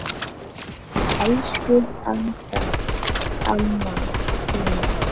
Elsku Adda amma mín.